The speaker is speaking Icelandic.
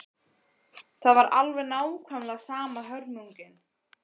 Það var alveg nákvæmlega sama hörmungin.